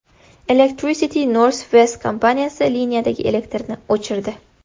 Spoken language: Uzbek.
Electricity North West kompaniyasi liniyadagi elektrni o‘chirdi.